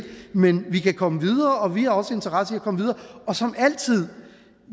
men vi kan komme videre og vi har også interesse i at komme videre som altid